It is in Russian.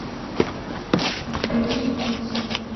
у тебя есть птица